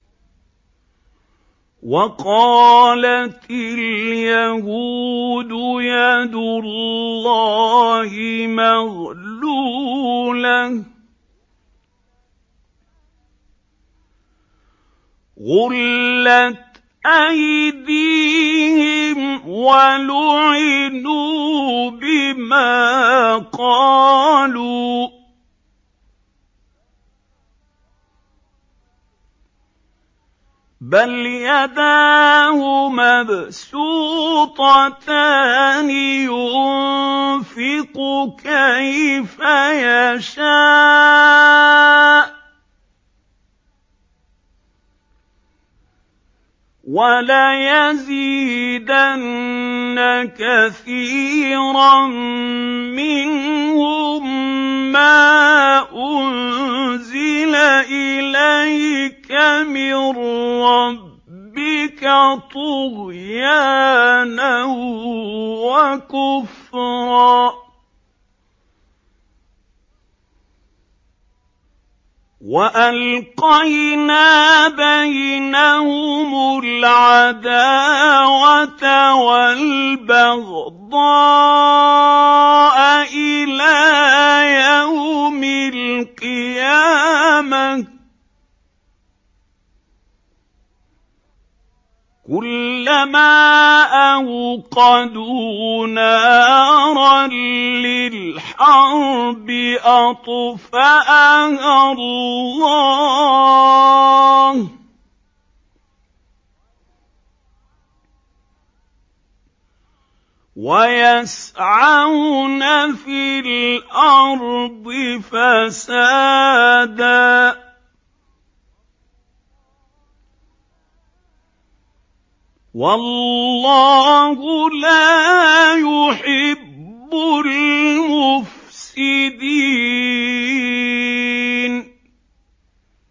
وَقَالَتِ الْيَهُودُ يَدُ اللَّهِ مَغْلُولَةٌ ۚ غُلَّتْ أَيْدِيهِمْ وَلُعِنُوا بِمَا قَالُوا ۘ بَلْ يَدَاهُ مَبْسُوطَتَانِ يُنفِقُ كَيْفَ يَشَاءُ ۚ وَلَيَزِيدَنَّ كَثِيرًا مِّنْهُم مَّا أُنزِلَ إِلَيْكَ مِن رَّبِّكَ طُغْيَانًا وَكُفْرًا ۚ وَأَلْقَيْنَا بَيْنَهُمُ الْعَدَاوَةَ وَالْبَغْضَاءَ إِلَىٰ يَوْمِ الْقِيَامَةِ ۚ كُلَّمَا أَوْقَدُوا نَارًا لِّلْحَرْبِ أَطْفَأَهَا اللَّهُ ۚ وَيَسْعَوْنَ فِي الْأَرْضِ فَسَادًا ۚ وَاللَّهُ لَا يُحِبُّ الْمُفْسِدِينَ